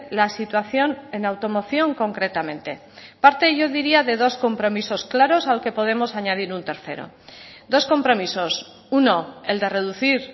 la situación en automoción concretamente parte yo diría de dos compromisos claros al que podemos añadir un tercero dos compromisos uno el de reducir